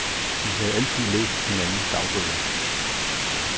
De havde altid læst hinandens dagbøger.